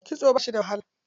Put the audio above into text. Kitso ba shi da wahala.